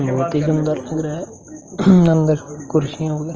बहुत ही सुंदर लग रहा है अंदर कुर्सी वेगरा --